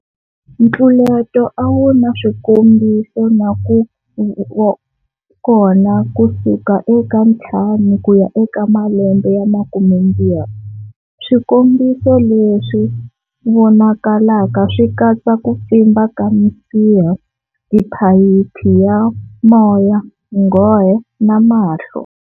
Ntluleto a wu na swikombiso na ku va kona kusuka eka 5 ku ya eka malembe ya 20. Swikombiso leswi vonakalaka swi katsa ku pfimba ka misiha, tiphayiphi ya moya nghohe na mahlo.